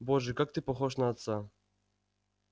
боже как ты похож на отца